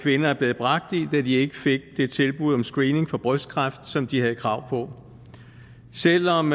kvinder er blevet bragt i da de ikke fik det tilbud om screening for brystkræft som de havde krav på selv om